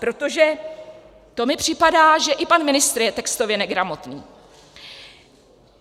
Protože to mi připadá, že i pan ministr je textově negramotný.